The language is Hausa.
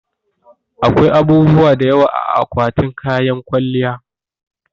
Akwai abubuwa da yawa a akwatin kayan kwalliya